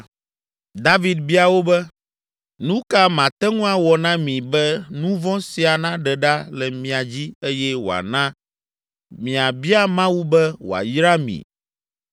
David bia wo be, “Nu ka mate ŋu awɔ na mi be nu vɔ̃ sia naɖe ɖa le mia dzi eye wòana miabia Mawu be wòayra mi?”